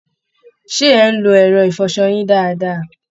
Ṣé ẹ̀ ń lo ẹ̀rọ ìfọṣọ yín dáadáa?